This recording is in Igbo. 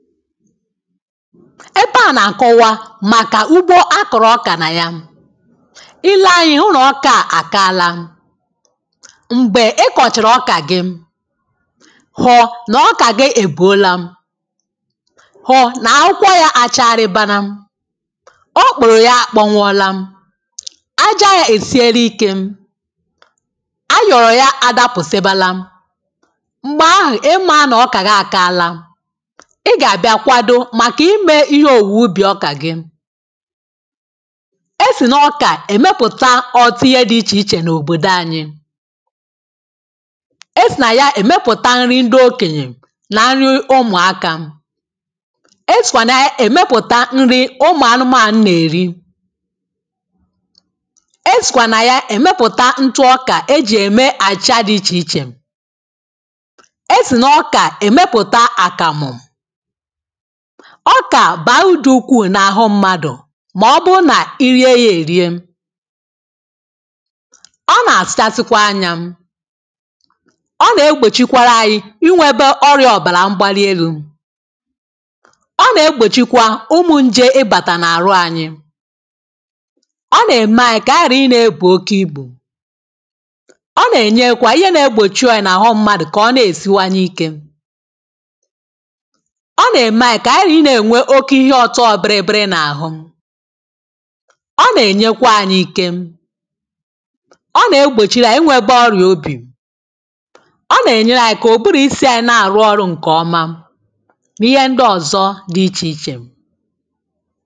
ebe à na-akọwa màkà ugbo a kọ̀rọ̀ ọkà nà ya ilee ànyị ụnọ̀ ọkà àkọala m̀gbè ị kọ̀chàrà ọkà gị hụ nà ọkà gị èbùola hụ nà akụkọ ya acharịbana ọ kpụ̀rụ̀ ya àkpọnwụọla aja ya èsiela ikė a yọ̀rọ̀ ya adapụ̀ sèbala m̀gbè ahụ̀ ịmȧ nọ̀ ọkà gị àkọala màkà imė ihe òwùwè ubì ọkà gị e sì n’ọkà èmepụ̀ta ọ̀tụ ihe dị ichè ichè n’òbòdò anyị e sì nà ya èmepụ̀ta nri ndị okenyè nà nri ụmụ̀akȧ e sìkwà nà ya èmepụ̀ta nri ụmụ̀anụmà a nà-èri e sìkwà nà ya èmepụ̀ta ntụ ọkà e jì ème àchịcha dị ichè ichè e sì n’ọkà èmepụ̀ta àkàmụ̀ ọkà bàrudu ukwuu n’àhụ mmadụ̀ màọbụụ nà irie ya èrie ọ nà-àsịchasịkwa anyȧ ọ nà-egbòchikwara anyi inwėbe ọrịȧ ọ̀bàrà mgbali elu̇ ọ nà-egbòchikwa ụmụ̇ nje ịbàtà n’àrụ anyi ọ nà-ème anyi kà a gà-àhụ ịnȧ-ėbù oke ibù ọ nà-ènyekwa ihe nȧ-ėgbòchi òyì n’àhụ mmadụ̀ kà ọ nà-èsiwanye ike ihe ọ̀tọ biri biri n’àhụ ọ nà-ènyekwà anyị ike ọ nà-egbòchiri ànyị nwebe ọrịà obì ọ nà-ènyere ànyị kà ụ̀bụrụ̀ isi anyị̇ na-àrụ ọrụ̇ ǹkè ọma n’ihe ndị ọ̀zọ dị ichè ichè